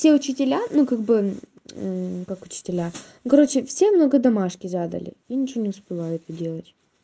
те учителя ну как бы как учителя ну короче все много домашки задали я ничего не успеваю это делать